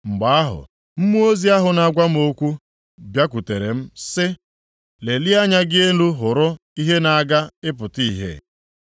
Mgbe ahụ, mmụọ ozi ahụ na-agwa m okwu bịakwutere m sị, “Lelie anya gị elu hụrụ ihe na-aga ịpụta ìhè.”